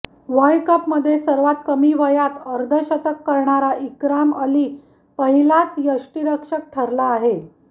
world कपमध्ये सर्वात कमी वयात अर्धशतक कऱणारा इकराम अली पहिलाच यष्टीरक्षक ठरला आहे